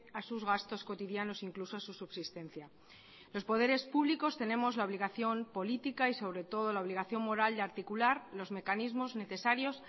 a sus gastos cotidianos incluso su subsistencia los poderes públicos tenemos la obligación política y sobre todo la obligación moral de articular los mecanismos necesarios